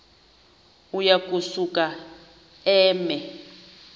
uya kusuka eme